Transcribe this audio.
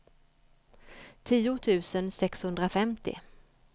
tio tusen sexhundrafemtio